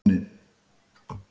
Nonni